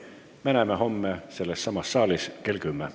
Me näeme homme sellessamas saalis kell 10.